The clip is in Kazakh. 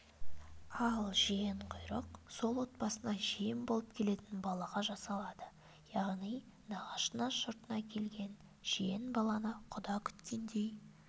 ал жиенқұйрық сол отбасына жиен болып келетін балаға жасалады яғни нағашы жұртына келген жиен-баланы құда күткендей